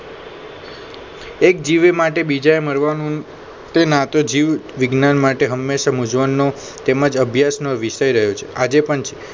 એક જીવે માટે બીજાએ મરવાનું આતો જીવ વિજ્ઞાન માટે હંમેશા મૂંઝવણનો તેમ જ અભ્યાસનો વિષય રહ્યો છે આજે પણ છે